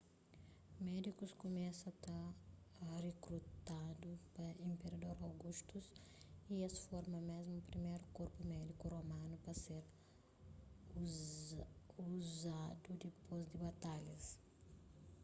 médikus kumesa ta rikrutadu pa inperador augustus y es forma mésmu priméru korpu médiku romanu pa ser uzadudipôs di batalhas